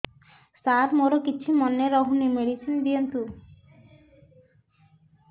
ସାର ମୋର କିଛି ମନେ ରହୁନି ମେଡିସିନ ଦିଅନ୍ତୁ